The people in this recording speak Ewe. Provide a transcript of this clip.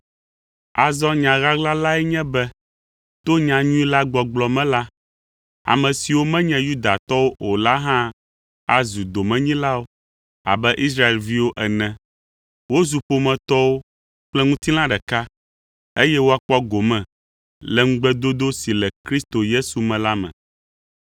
Azɔ nya ɣaɣla lae nye be: to nyanyui la gbɔgblɔ me la, ame siwo menye Yudatɔwo o la hã azu domenyilawo abe Israelviwo ene; wozu ƒometɔwo kple ŋutilã ɖeka, eye woakpɔ gome le ŋugbedodo si le Kristo Yesu me la me.